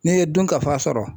N'i ye dunkafa sɔrɔ